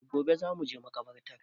E gobe za mu je makabartar